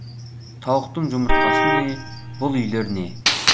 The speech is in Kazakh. тауықтың жұмыртқасы не бұл үйлер не